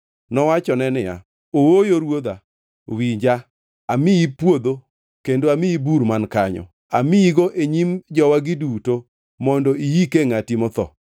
Nowachone niya, “Ooyo ruodha, winja, amiyi puodho, kendo amiyi bur man kanyo. Amiyigo e nyim jowagi duto mondo iyikie ngʼati motho.”